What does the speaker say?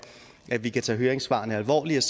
vi kan tage høringssvarene alvorligt